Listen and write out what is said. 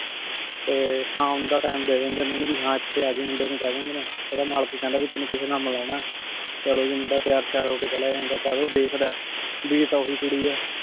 ਤੇ ਸ਼ਾਮ ਦਾ ਟੀਮ ਡੀ ਦੇਂਦੀ ਨੇ ਓਨੁ ਭੀ ਹਾਂ ਏਥੇ ਏਜੇਂ ਮੁੰਡੇ ਨੂ ਕਹ ਦੇਂਦੀ ਨੇ ਓਦਾ ਮਲਿਕ ਕਹੰਦਾ ਭੀ ਤੇਨੁ ਕਿਸੇ ਨਾਲ ਮਿਲਣਾ ਆਯ ਚਲੋ ਜੀ ਮੁੰਡਾ ਤਯਾਰ ਸ਼ਯਰ ਹੋ ਕੇ ਚਲਾ ਜਾਂਦਾ ਆਯ ਜਦ ਊ ਦੇਖਦਾ ਆਯ ਭਾਈ ਆਯ ਤਾਂ ਓਹੀ ਕੁਰੀ ਆਯ